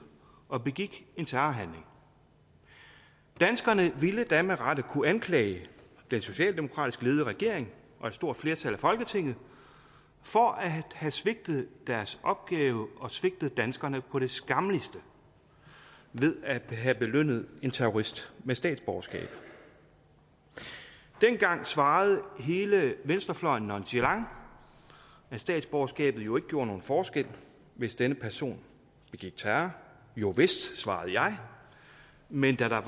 og begik en terrorhandling danskerne ville da med rette kunne anklage den socialdemokratisk ledede regering og et stort flertal af folketinget for at have svigtet deres opgave og svigtet danskerne på det skammeligste ved at have belønnet en terrorist med statsborgerskab dengang svarede hele venstrefløjen nonchalant at statsborgerskabet jo ikke gjorde nogen forskel hvis denne person begik terror jovist svarede jeg men at der